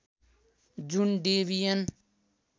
जुन डेबियन